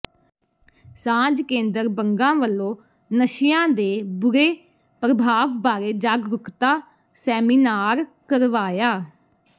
ਸਾਂਝ ਕੇਂਦਰ ਬੰਗਾ ਵੱਲੋਂ ਨਸ਼ਿਆਂ ਦੇ ਬੁਰੇ ਪ੍ਰਭਾਵ ਬਾਰੇ ਜਾਗਰੁੂਕਤਾ ਸੈਮੀਨਾਰ ਕਰਵਾਇਆ